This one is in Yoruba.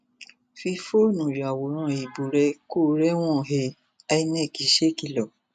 fi fóònù yàwòrán ìbò rẹ kó o rẹwọn he inec ṣèkìlọ